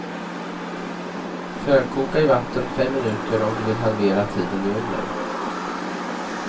Förkoka i vatten fem minuter om du vill halvera tiden i ugnen.